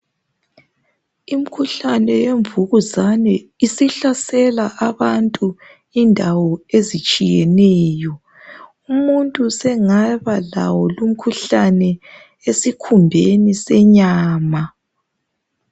Imkhuhlane yemvukuzane isihlasela abantu endaweni ezitshiyeneyo. Umuntu usengaba lawo lumkhuhlane, esikhumbeni senyama.